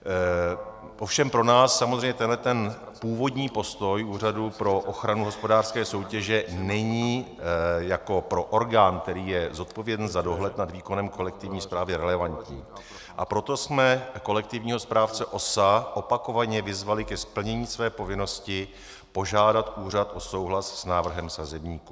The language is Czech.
Ovšem pro nás samozřejmě tento původní postoj Úřadu pro ochranu hospodářské soutěže není jako pro orgán, který je zodpovědný za dohled nad výkonem kolektivní správy, relevantní, a proto jsme kolektivního správce OSA opakovaně vyzvali k plnění své povinnosti požádat úřad o souhlas s návrhem sazebníku.